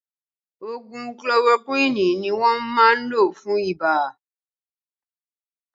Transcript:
Ògùn kolorokúwìnì ni wọ́n máa ń lò fún ibà